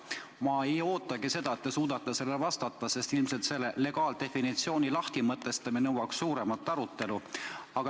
Ma ei ootagi seda, et te suudate sellele vastata, sest ilmselt selle legaaldefinitsiooni lahtimõtestamine nõuaks suuremat arutelu.